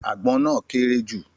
Àgbọn náà kééré jù